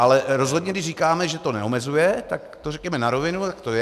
Ale rozhodně když říkáme, že to neomezuje, tak to řekněme na rovinu, tak to je.